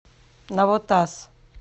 навотас